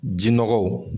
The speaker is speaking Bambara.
Ji nɔgɔw